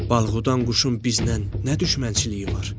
Balğudan quşun bizdən nə düşmənçiliyi var?